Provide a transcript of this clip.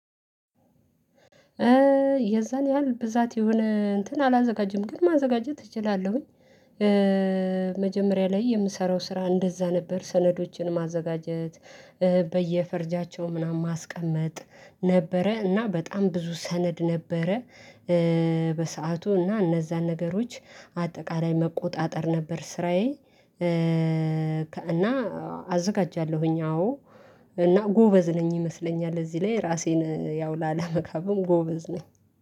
የዛን ያህል ብዛት የሆነ እንትን አላዘጋጀም ግን ማዘጋጀት እችላለሁኝ። መጀመሪያ ላይ የምሰራው ስራ እንደዛ ነበር ሰነዶችን ማዘጋጀት። በየፈርጃቸው ምናምን ማስቀመጥ ነበረ እና በጣም ብዙ ሰነድ ነበረ። በሰአቱ እና እነዛን ነገሮች አጠቃላይ መቆጣጠር ነበር ስራዬ። እና አዘጋጃለሁኝ አዎ እና ጎበዝ ነኝ ይመስለኛል። እዚህ ላይ ራሴን ያው ላለመካብም ጎበዝ ነኝ